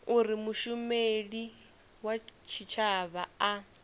uri mushumeli wa tshitshavha a